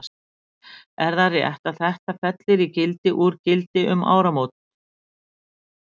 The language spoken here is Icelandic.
Sindri: Er það rétt að þetta fellur í gildi úr gildi um áramót?